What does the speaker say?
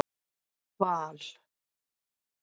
Val